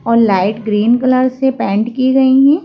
और light green colour से पेंट की गई हैं।